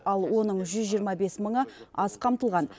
ал оның жүз жиырма бес мыңы аз қамтылған